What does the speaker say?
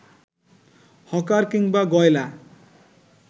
hawker কিংবা গয়লা